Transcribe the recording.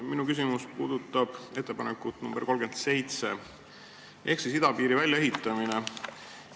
Minu küsimus puudutab ettepanekut nr 37 ehk siis idapiiri väljaehitamist.